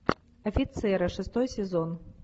офицеры шестой сезон